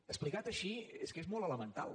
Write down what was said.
explicat així és que és molt elemental